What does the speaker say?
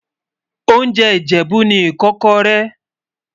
oúnjẹ ìjèbú ní ikókóré